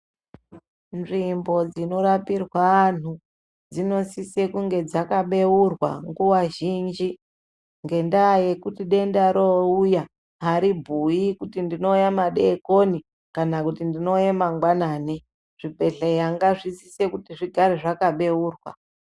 Nzvimbo dzinorapirwe antu dzinosise kunge dzakabeurwa nguwa zhinji ngendaa yekuti denda roouya aribhui kuti ndouya madekoni kana kuti ndouya mangwanani. Zvibhedhlera zvinosise kugara zvakabeurwa.